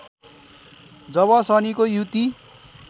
जब शनिको युति